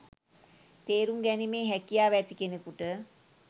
තේරුම් ගැනීමේ හැකියාව ඇති කෙනෙකුට